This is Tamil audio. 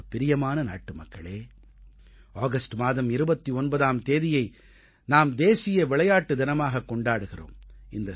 எனக்குப் பிரியமான நாட்டுமக்களே ஆகஸ்ட் மாதம் 29ஆம் தேதியை நாம் தேசிய விளையாட்டு தினமாக கொண்டாடுகிறோம்